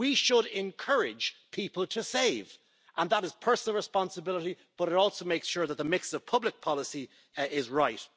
We should encourage people to save, and that is a personal responsibility, but it also makes sure that the mix of public policy is right.